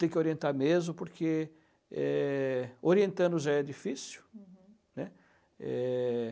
Tem que orientar mesmo, porque é orientando já é difícil. Uhum, né. É...